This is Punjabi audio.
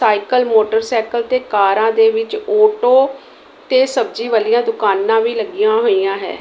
ਸਾਈਕਲ ਮੋਟਰਸਾਈਕਲ ਤੇ ਕਾਰਾਂ ਦੇ ਵਿੱਚ ਆਟੋ ਤੇ ਸਬਜ਼ੀ ਵਾਲੀਆਂ ਦੁਕਾਨਾਂ ਵੀ ਲੱਗੀਆਂ ਹੋਈਆਂ ਹੈ।